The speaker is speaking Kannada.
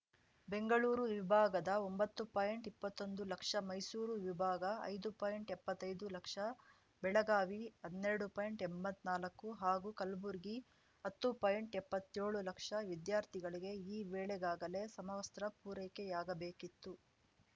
ಬೆಂಗಳೂರು ವಿಭಾಗದ ಒಂಬತ್ತು ಪಾಯಿಂಟ್ಇಪ್ಪತ್ತೊಂದು ಲಕ್ಷ ಮೈಸೂರು ವಿಭಾಗ ಐದು ಪಾಯಿಂಟ್ಎಪ್ಪತ್ತೈದು ಲಕ್ಷ ಬೆಳಗಾವಿ ಹನ್ನೆರಡು ಪಾಯಿಂಟ್ಎಂಬತ್ನಾಕು ಹಾಗೂ ಕಲ್ಬುರ್ಗಿ ಹತ್ತು ಪಾಯಿಂಟ್ಎಪ್ಪತ್ತೇಳು ಲಕ್ಷ ವಿದ್ಯಾರ್ಥಿಗಳಿಗೆ ಈ ವೇಳೆಗಾಗಲೇ ಸಮವಸ್ತ್ರ ಪೂರೈಕೆಯಾಗಬೇಕಿತ್ತು